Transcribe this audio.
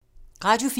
Radio 4